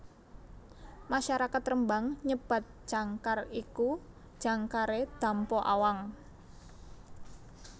Masyarakat Rembang nyebat jangkar iku jangkare Dampo Awang